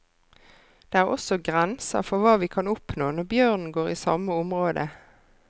Det er også grenser for hva vi kan oppnå når bjørnen går i samme området.